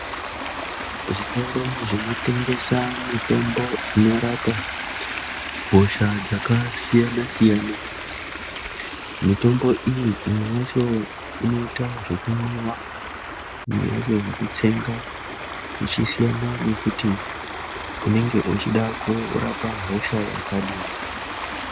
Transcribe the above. Zvitoro zvinotengesa mutombo inorapa hosha dzakasiyana siyana mitombo iyi imwe yacho inoita zvekumwiwa imwe yacho inoitwa zvekutsenga zvichisiyana nekuti unenge uchida kurapa hosha yakadini.